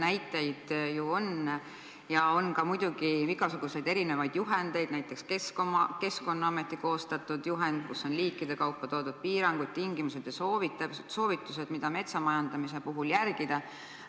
Näiteid ju on ja muidugi on ka igasuguseid erinevaid juhendeid, näiteks Keskkonnaameti koostatud juhend, kus on liikide kaupa esitatud piirangud, tingimused ja soovitused, mida metsa majandamise puhul järgida.